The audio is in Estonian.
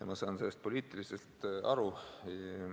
Ma saan sellest poliitiliselt aru.